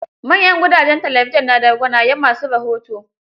Manyan gudajen talabijin na da gwanayen ma su rahoto.